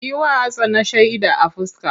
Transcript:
Yi wa Hassana shaida a fuska!